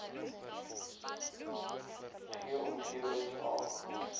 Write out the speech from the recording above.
g omgewings h